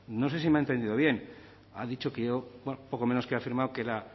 no sé si me ha entendido bien ha dicho que poco menos que ha afirmado que